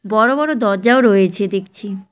বড়ো বড়ো দরজাও রয়েছে দেখছি।